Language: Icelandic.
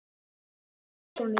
Danni, hvernig er dagskráin í dag?